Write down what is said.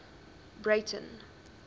breyten